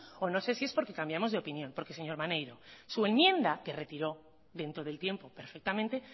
o no sé si es porque cambiamos de opinión porque señor maneiro su enmienda que retiró dentro del tiempo perfectamente